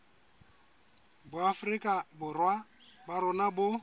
boafrika borwa ba rona bo